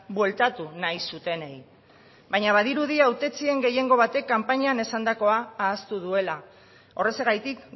bueltatu nahi zutenei baina badirudi hautetsien gehiengo batek kanpainan esandakoa ahaztu duela horrexegatik